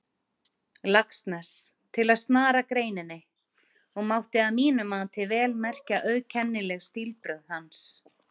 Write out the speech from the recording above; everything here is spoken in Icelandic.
Laxness, til að snara greininni, og mátti að mínu mati vel merkja auðkennileg stílbrögð hans.